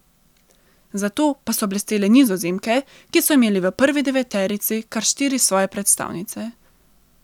Zato pa so blestele Nizozemke, ki so imele v prvi deveterici kar štiri svoje predstavnice.